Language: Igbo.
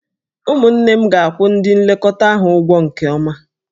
Ụmụnne m ga-akwụ ndị nlekọta ahụ ụgwọ nke ọma.